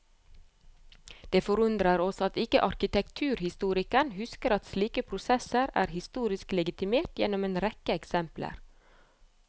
Det forundrer oss at ikke arkitekturhistorikeren husker at slike prosesser er historisk legitimert gjennom en rekke eksempler.